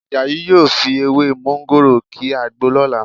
Àjàyí yóò fi ewé mọ́ńgòrò ki àgbo lọ́la